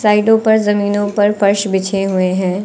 साइडो पर जमीनों पर फर्श बिछे हुए है।